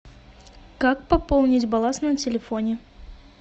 как пополнить баланс на телефоне